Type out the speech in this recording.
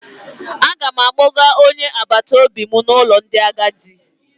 Aga m akpọga onye agbataobi m n'ụlọ ndị agadi.